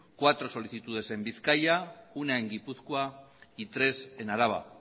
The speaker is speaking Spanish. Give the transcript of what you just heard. cuatro solicitudes en bizkaia una en gipuzkoa y tres en araba